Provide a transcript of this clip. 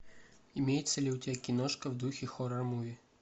имеется ли у тебя киношка в духе хоррор муви